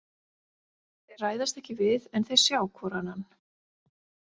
Þeir ræðast ekki við en þeir sjá hvor annan.